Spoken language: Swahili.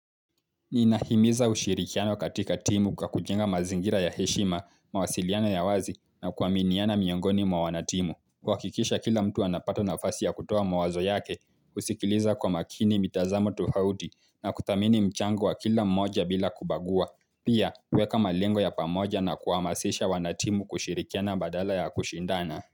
Ninahimiza ushirikiano katika timu kwa kujenga mazingira ya heshima, mawasiliano ya wazi na kuaminiana miongoni mwa wanatimu. Kuhakikisha kila mtu anapata nafasi ya kutoa mawazo yake, kusikiliza kwa makini mitazamo tofauti na kuthamini mchango wa kila mmoja bila kubagua. Pia kueka malengo ya pamoja na kuhamasisha wanatimu kushirikiana badala ya kushindana.